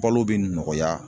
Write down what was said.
Balo be nɔgɔya